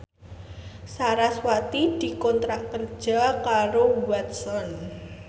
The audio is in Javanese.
sarasvati dikontrak kerja karo Watson